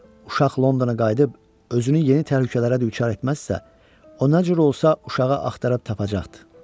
Uşaq Londona qayıdıb özünü yeni təhlükələrə düçar etməzsə, o nə cür olsa uşağı axtarıb tapacaqdır.